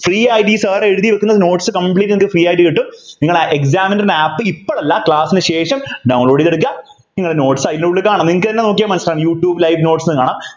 free ആയിട്ട് ഈ sir എഴുതിവെക്കുന്ന notes നിങ്ങൾക്ക് free ആയിട്ടു കിട്ടും നിങ്ങള് examiner ൻ്റെ app ഇപ്പൊ ല്ല class നു ശേഷം download ചെയ്തെടുക്കുക നിങ്ങളെ notes അതിനുള്ളിൽ കാണും നിങ്ങൾ തന്നെ നോക്കിയാൽ മനസിലാകും യുട്യൂബ് live notes ന്നു കാണാം